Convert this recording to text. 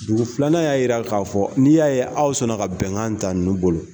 Dugu filanan y'a jira k'a fɔ n'i y'a ye aw sɔnna ka bɛnkan ta ninnu bolo.